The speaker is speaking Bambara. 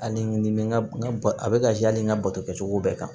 Hali ni bɛ n ka a bɛ ka yaala n ka bato kɛcogo bɛɛ kan